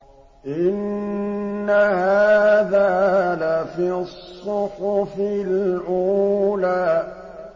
إِنَّ هَٰذَا لَفِي الصُّحُفِ الْأُولَىٰ